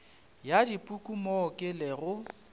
ya dipuku mo ke lego